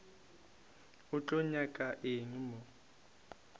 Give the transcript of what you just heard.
o tlo nyaka eng mo